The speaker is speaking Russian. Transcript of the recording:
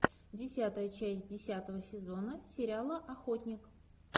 десятая часть десятого сезона сериала охотник